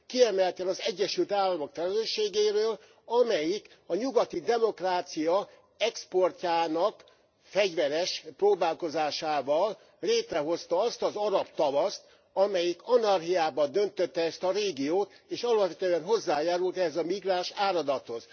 Kiemelten az Egyesült Államok felelősségéről, amelyik a nyugati demokrácia exportjának fegyveres próbálkozásával létrehozta azt az arab tavaszt, amelyik anarchiába döntötte ezt a régiót, és alapvetően hozzájárult ehhez a migránsáradathoz.